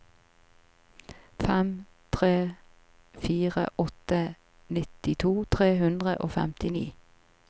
fem tre fire åtte nittito tre hundre og femtini